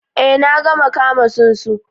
Ee na taba kama tsunsu